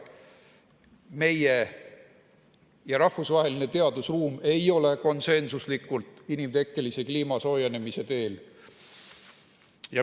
Meie ja rahvusvaheline teadusruum ei ole konsensuslikult kliima inimtekkelise soojenemise teel.